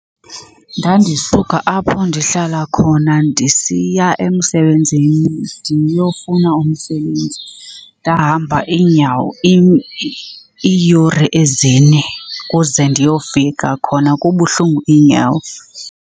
Ndandisuka apho ndihlala khona ndisiya emsebenzini ndiyofuna umsebenzi. Ndahamba iinyawo iiyure ezine kuze ndiyofika khona kubuhlungu iinyawo.